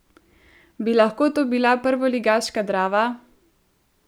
Bi lahko to bila prvoligaška Drava?